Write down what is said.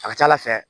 A ka ca ala fɛ